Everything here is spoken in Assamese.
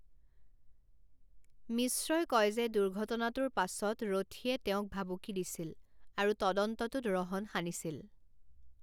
মিশ্ৰই কয় যে দুৰ্ঘটনাটোৰ পাছত ৰথীয়ে তেওঁক ভাবুকি দিছিল আৰু তদন্তটোত ৰহণ সানিছিল।